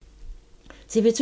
TV 2